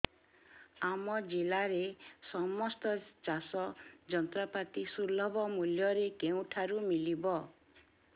ଆମ ଜିଲ୍ଲାରେ ସମସ୍ତ ଚାଷ ଯନ୍ତ୍ରପାତି ସୁଲଭ ମୁଲ୍ଯରେ କେଉଁଠାରୁ ମିଳିବ